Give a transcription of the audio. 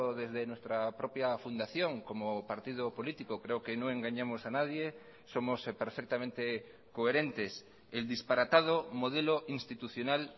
desde nuestra propia fundación como partido político creo que no engañamos a nadie somos perfectamente coherentes el disparatado modelo institucional